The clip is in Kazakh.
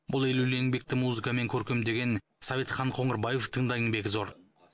бұл елеулі еңбекті музыкамен көркемдеген советхан қоңырбаевтың да еңбегі зор